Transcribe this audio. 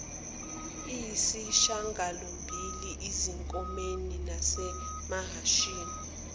eyisishagalombili ezinkomeni nasemahashini